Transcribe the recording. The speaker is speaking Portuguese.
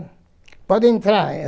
Pode entrar